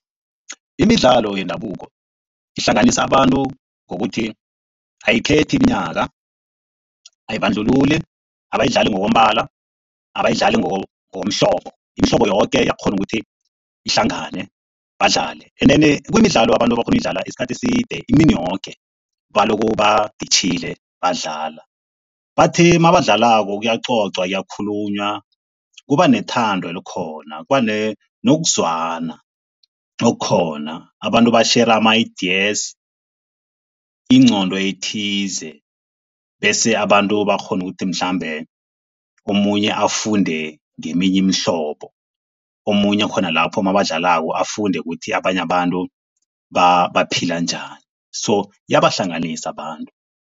Imidlalo yendabuko ihlanganisa abantu ngokuthi ayikhethi iminyaka, ayibandlululi, abayidlali ngokombala, abayidlali ngokomhlobo. Imihlobo yoke iyakghona ukuthi ihlangane badlale. Endeni, kumidlalo abantu abakghona ukuyidlala isikhathi eside. Imini yoke balokhu baditjhile badlala bathi nabadlalako kuyacocwa, kuyakhulunywa kuba nethando elikhona, kuba nokuzwana okukhona. Abantu batjhera ama-ideas, ingqondo ethize bese abantu bakghona ukuthi mhlambe omunye afunde ngeminye imihlobo. Omunye khona lapho nabadlalako afunde ukuthi abanye abantu baphila njani so iyabahlanganisa abantu.